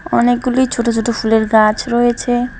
অনেকগুলি ছোট ছোট ফুলের গাছ রয়েছে।